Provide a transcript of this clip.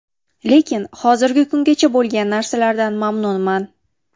Lekin hozirgi kungacha bo‘lgan narsalardan mamnunman.